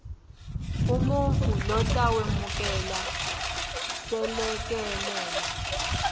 umuntfu lotawemukela selekelelo